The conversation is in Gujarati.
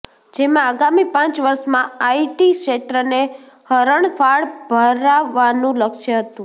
જેમાં આગામી પાંચ વર્ષમાં આઈટી ક્ષેત્રને હરણફાળ ભરાવવાનું લક્ષ્ય હતું